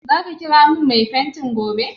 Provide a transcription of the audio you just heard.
Za ka kira min mai fenti gobe?